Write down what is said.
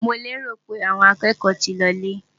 Mo lérò pé àwọn akẹ́kọ̀ọ́ ti lọ lé?